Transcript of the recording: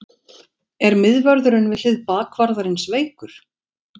Er miðvörðurinn við hlið bakvarðarins veikur?